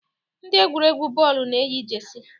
Ndị egwuregwu bọọlụ na-eyi Jesi